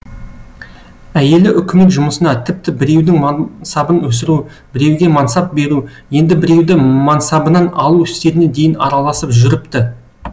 әйелі үкімет жұмысына тіпті біреудің мансабын өсіру біреуге мансап беру енді біреуді мансабынан алу істеріне дейін араласып жүріпті